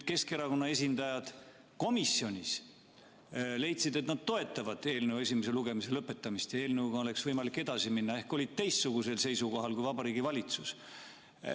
Keskerakonna esindajad komisjonis leidsid, et nad toetavad eelnõu esimese lugemise lõpetamist ja eelnõuga oleks võimalik edasi minna, ehk olid teistsugusel seisukohal kui Vabariigi Valitsus.